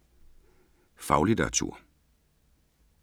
Faglitteratur